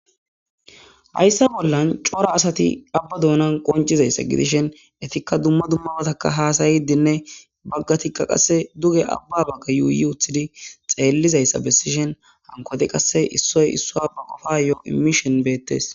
Hayssa bollan cora asati aabba duunnan qonccisizayssa gidishin ettikka dumma dumma battakka hassyidinne baggatikka duge aabba bagga yuuyii uuttidi xellizayssa besishin hankkoti qase issoy issuwayo ba qoppa imishin bettes